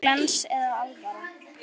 Var þetta glens eða alvara?